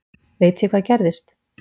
Veit ég hvað gerðist?